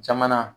Jamana